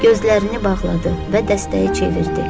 Gözlərini bağladı və dəstəyi çevirdi.